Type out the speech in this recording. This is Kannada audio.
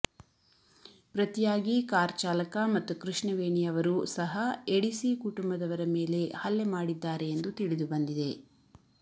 ಪ್ರತಿಯಾಗಿ ಕಾರ್ ಚಾಲಕ ಮತ್ತು ಕೃಷ್ಣವೇಣಿ ಅವರು ಸಹ ಎಡಿಸಿ ಕುಟುಂಬದವರ ಮೇಲೆ ಹಲ್ಲೆ ಮಾಡಿದ್ದಾರೆ ಎಂದು ತಿಳಿದು ಬಂದಿದೆ